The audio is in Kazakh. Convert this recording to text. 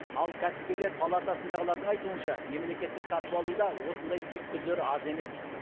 ал кәсіпкерлер палатасындағылардың айтуынша мемлекеттік сатып алуда осындай түйткілдер аз емес